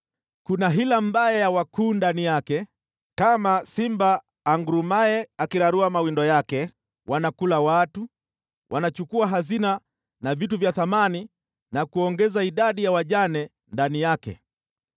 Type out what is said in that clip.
Kuna hila mbaya ya wakuu ndani yake kama simba angurumaye akirarua mawindo yake, wanakula watu, wanachukua hazina na vitu vya thamani na kuongeza idadi ya wajane ndani yake.